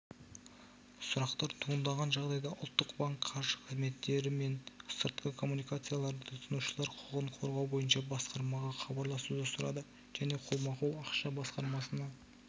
сұрақтар туындаған жағдайда ұлттық банк қаржы қызметтері мен сыртқы коммуникацияларды тұтынушылар құқығын қорғау бойынша басқармаға хабарласуды сұрады және қолма-қол ақша басқармасына